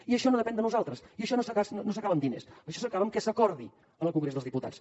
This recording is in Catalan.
i això no depèn de nosaltres i això no s’acaba amb diners això s’acaba amb que s’acordi en el congrés dels diputats